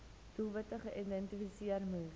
doelwitte geïdentifiseer moes